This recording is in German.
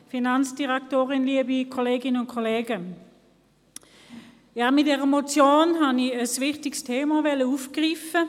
Mit meiner Motion wollte ich ein wichtiges Thema aufgreifen.